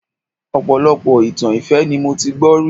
Ọpọlọpọ itan ìfẹ́ ni mo ti gbọ́ rí